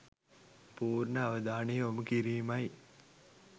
පූර්ණ අවධානය යොමු කිරීමයි.